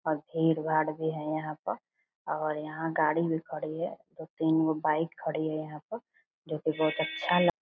और भीड़-भाड़ भी है यहां पर और यहां गाड़ी भी खड़ी है दो तीन गो बाइक खड़ी है यहां पे जो की बहुत अच्छा ल --